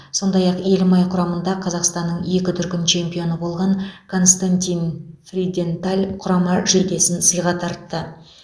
сондай ақ елімай құрамында қазақстанның екі дүркін чемпионы болған константин фриденталь құрама жейдесін сыйға тартты